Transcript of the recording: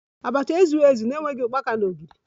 Abacha ezughi ezu na-enweghi ukpaka na ogiri